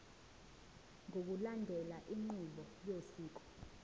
ngokulandela inqubo yosiko